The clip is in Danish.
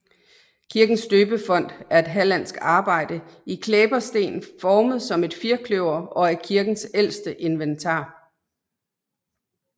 Kirkens døbefont er et hallandsk arbejde i klæbersten formet som et firkløver og er kirkens ældste inventar